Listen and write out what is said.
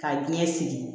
Ka ɲɛ sigi